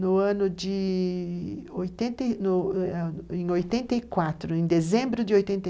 No ano de... em 84, em dezembro de 84.